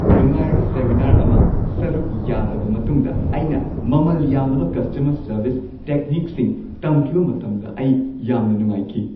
ꯅꯨꯡꯉꯥꯏꯔꯕ ꯁꯦꯃꯤꯅꯥꯔ ꯑꯃ ꯁꯔꯨꯛ ꯌꯥꯔꯕ ꯃꯇꯨꯡꯗ, ꯑꯩꯅ ꯃꯃꯜ ꯌꯥꯝꯂꯕ ꯀꯁꯇꯃꯔ ꯁꯔꯚꯤꯁ ꯇꯦꯛꯅꯤꯛꯁꯤꯡ ꯇꯝꯈꯤꯕ ꯃꯇꯝꯗ ꯑꯩ ꯌꯥꯝꯅ ꯅꯨꯡꯉꯥꯏꯈꯤ꯫